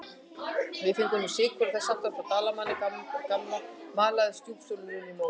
Við fengum nú sykur og þess háttar frá Dalmann gamla maldaði stjúpsonurinn í móinn.